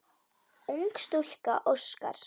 Ung stúlka óskar.